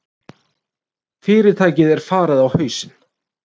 Fyrirtækið er farið á hausinn.